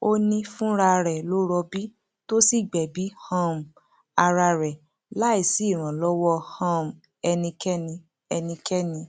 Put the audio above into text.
ó ní fúnra rẹ ló rọbí tó sì gbẹbí um ara rẹ láì sí ìrànlọwọ um ẹnikẹni ẹnikẹni